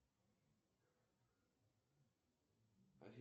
афина как расплачиваться в никарагуа